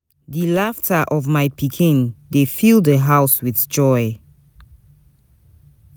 Di laughter of my pikin dey fill di house with joy.